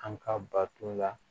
An ka bato la